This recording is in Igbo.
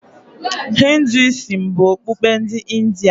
Hinduism bụ okpukpe ndị India.